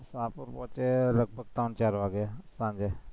ટાપુ પહોંચીએ લગભગ પાંચ-ચાર વાગે સાંજે